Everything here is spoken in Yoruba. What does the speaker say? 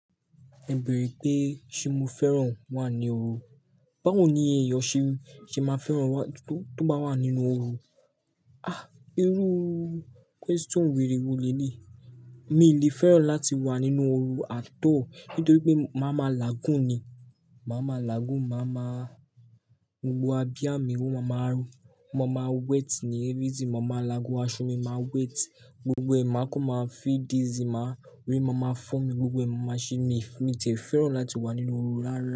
O beèrè pé ṣe mo fẹ́ràn wà ní oru? Báwo ni ẹ̀eyan ṣe máa fẹ́ràn tó bá wà nínú oru? Ah! Irú question wèrè wo lé leyí. Mi n lè fẹ́ràn láti wà nínú oru at all, nítorí pé màá ma lagun ni. Màá ma lagun, màá máa gbogbo abiyá mi, ó màá máa rún, o máa wet ni everything, mo máa lagun, aṣọ mi máa wet, gbogbo ẹ̀ máa kún máa feed easy, màá ori ma màá fo mi gbogbo, màá shi mi. Mi n tí e fẹ́ràn láti wà nínú oru rárá.